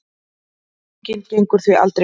Deilingin gengur því aldrei upp.